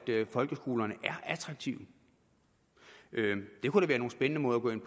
folkeskolerne er attraktive det kunne da være nogle spændende måder at gå ind